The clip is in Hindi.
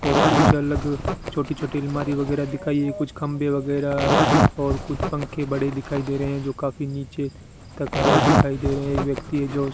और कुछ अलग छोटी छोटी अलमारी वगैरह दिखाई है कुछ खंभे वगैरह और कुछ पंखे बड़े दिखाई दे रहे हैं जो काफी नीचे तक आए दिखाई दे रहे हैं एक व्यक्ति है जो